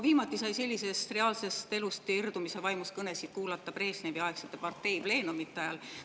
Viimati sai sellisest reaalsest elust irdumise vaimus kõnesid kuulata Brežnevi-aegsete parteipleenumite ajal.